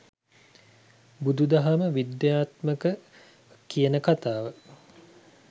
බුදු දහම විද්‍යාත්මක ‍කියන කතාව